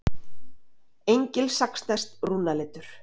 Engilsaxneskt rúnaletur.